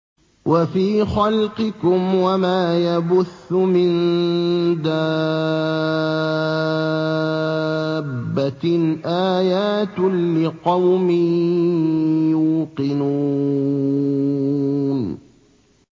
وَفِي خَلْقِكُمْ وَمَا يَبُثُّ مِن دَابَّةٍ آيَاتٌ لِّقَوْمٍ يُوقِنُونَ